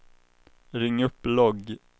ring upp logg